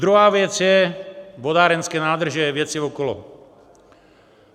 Druhá věc je - vodárenské nádrže, věci okolo.